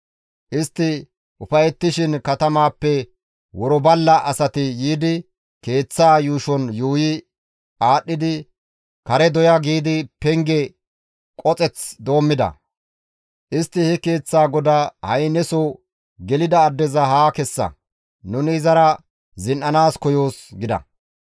Istti ufayettishin katamaappe worballa asati yiidi keeththaa yuushon yuuyi aadhdhidi, «Kare doya» giidi penge qoxeth doommida; istti he keeththaa godaa, «Ha7i neso gelida addeza haa kessa; nuni izara zin7anaas koyoos!» gida.